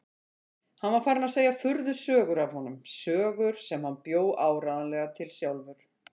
Hann var farinn að segja furðusögur af honum, sögur sem hann bjó áreiðanlega til sjálfur.